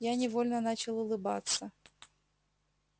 я невольно начал улыбаться